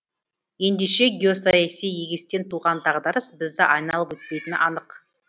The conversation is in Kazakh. ендеше геосаяси егестен туған дағдарыс бізді айналып өтпейтіні анық